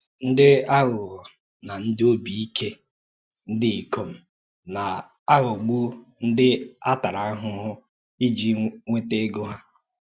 Ǹdí àghùghọ̀ na ǹdí óbì-íkè ǹdí ìkòm na-aghògbù ǹdí à tārà àhùhù ìjì nwètà ègò hà.